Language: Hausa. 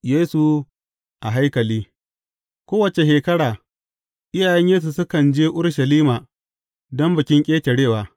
Yesu a haikali Kowace shekara, iyayen Yesu sukan je Urushalima don Bikin Ƙetarewa.